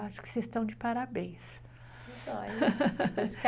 Acho que vocês estão de parabéns.